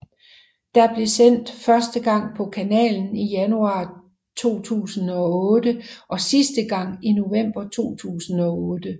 Der blev sendt første gang på kanalen i januar 2008 og sidste gang i november 2008